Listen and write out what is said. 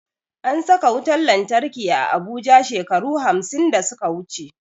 An saka wutan lantarki a abuja shekaru hamsin da suka wuche